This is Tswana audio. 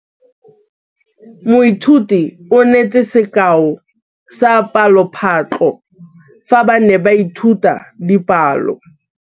Moithuti o neetse sekaô sa palophatlo fa ba ne ba ithuta dipalo.